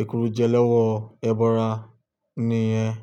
èkuru jẹ lọ́wọ́ ẹbọra nìyẹn.